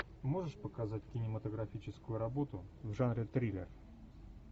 можешь показать кинематографическую работу в жанре триллер